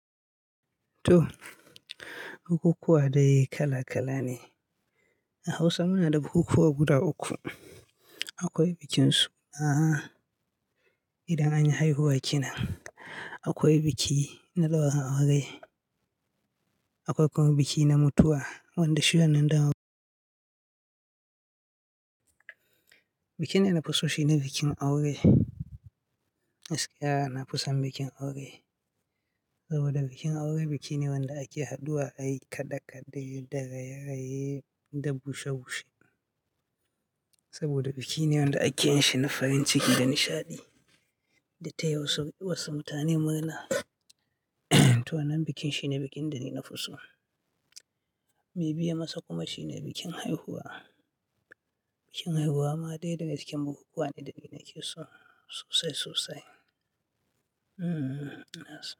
To, bukukuwa dai kala-kala ne. A Hausa muna da bukukuwa guda uku. Akwai bikinsu, aha idan anyi haihuwa kenan, akwai biki na ɗaurin aure, akwai kuma biki na mutuwa wanda shi wannan dama Bikin da na fi so shi ne bikin aure. Gaskiya na fi san bikin aure saboda bikin aure biki ne wanda ake haɗuwa ai kaɗe-kaɗe da raye-raye da bushe-bushe. Saboda biki ne wanda ake yin shi na farin ciki da nishaɗi da taya wasu mutane murna to wannan bikin shi ne bikin da na nafi so. Mai biye masa kuma shine bikin haihuwa. Bikin haihuwa ma dai yana cikin bukukuwa ne da nake so sosai sosai. Ina so.